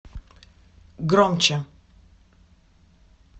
громче